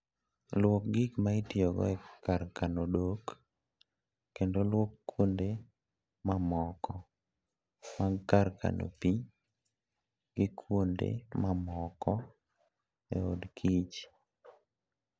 Lwok gik ma itiyogo e kar kano odok, kendo lwok kuonde mamoko mag kar kano pi gi kuonde mamoko e od kich.